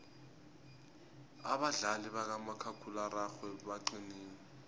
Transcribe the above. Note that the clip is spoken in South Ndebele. abadlali bakamakhakhulararhwe baqinile